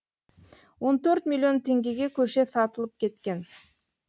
он төрт миллион теңгеге көше сатылып кеткен